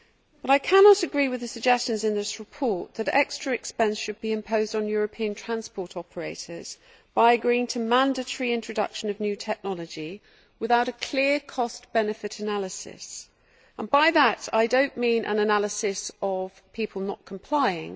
But I cannot agree with the suggestions in this report that extra expenses should be imposed on European transport operators by agreeing to mandatory introduction of new technology without a clear cost benefit analysis, and by that I do not mean an analysis of people not complying.